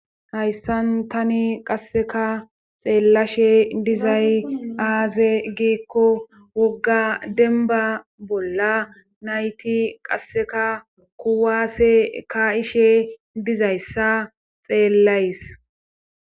Hayssan tani qasseka xeellashe dizay aaze giekko wogga denba bolla nayti qasseka kuwaase ka ishe dizayssa xeellays